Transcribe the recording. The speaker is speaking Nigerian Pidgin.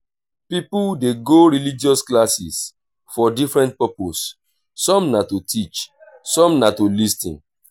pipo de go religious classes for different purpose some na to teach some na to lis ten